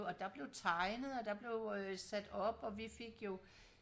hvor der blev tegnet og der blev øh sat op og vi fik jo